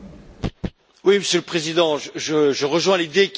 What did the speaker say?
Monsieur le Président, je rejoins l'idée qui est défendue.